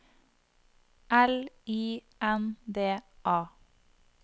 L I N D A